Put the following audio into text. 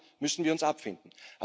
Damit müssen wir uns abfinden.